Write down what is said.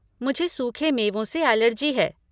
मुझे सूखे मेवों से एलर्जी है।